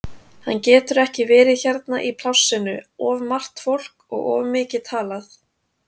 Hann getur ekki verið hérna í plássinu, of margt fólk og of mikið talað.